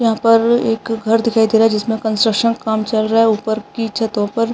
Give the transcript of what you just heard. यहाँ पर एक घर दिखाई दे रहा है जिसमें कंस्ट्रक्शन का काम चल रहा है ऊपर की छतों पर --